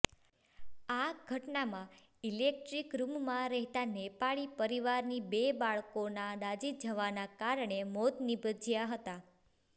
આ ઘટનામાં ઇલેક્ટ્રિક રૂમમાં રહેતા નેપાળી પરિવારની બે બાળકોના દાઝી જવાના કારણે મોત નીપજ્યા હતા